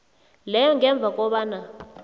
leyo ngemva kobana